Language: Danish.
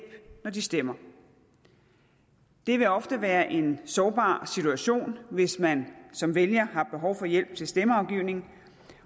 når de stemmer det vil ofte være en sårbar situation hvis man som vælger har behov for hjælp til stemmeafgivningen